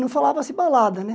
Não falava-se balada, né?